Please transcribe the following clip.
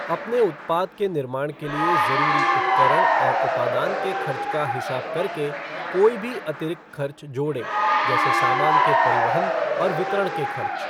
अपने उत्पाद के निर्माण के लिए ज़रूरी उपकरण और उपादान के खर्च का हिसाब करके कोई भी अतिरिक्त खर्च जोड़ें जैसे सामान के परिवहन और वितरण के खर्च।